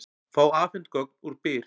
Fá afhent gögn úr Byr